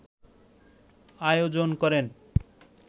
আয়োজন করেন